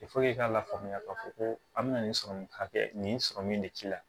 i k'a lafaamuya k'a fɔ ko a bɛna nin sɔrɔmu hakɛ nin sɔrɔ min de k'i la